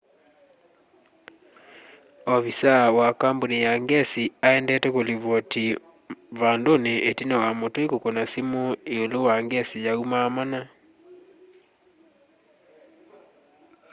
ovisaa wa kambũni ya ngesi aendete kũlivoti vandũnĩ ĩtina wa mũtũi kũkũna simũ ĩũlũ wa ngesi yaumaa mana